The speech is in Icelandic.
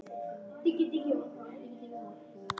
Værðar þú njóta skalt.